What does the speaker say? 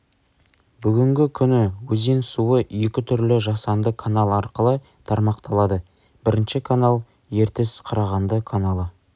бүгінгі күні өзен суы екі түрлі жасанды канал арқылы тармақталады бірінші канал ертіс-қарағанды каналы